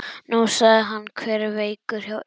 Nú, sagði hann, hver er veikur hjá ykkur?